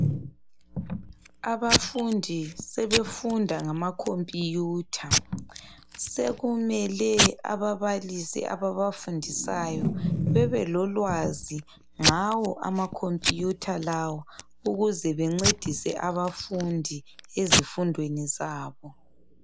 Abafundi sebefunda ngama computer sekumele ababalisi ababa fundisiyo bebe lolwazi ngawo ama computer lawo ukuze bencedise abafundi ezofundweni zabo.